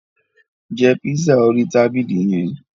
Jẹ pizza orí tabili yẹn!